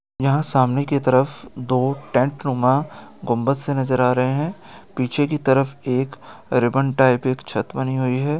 यहाँ सामने की तरफ दो टेंट नुमा गुंबद से नज़र आ रहे है पीछे की तरफ एक रिबन टाइप एक छत बनी हुई है।